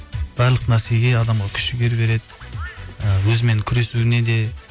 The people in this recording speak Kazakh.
барлық нәрсеге адамға күш жігер береді і өзімен күресуіне де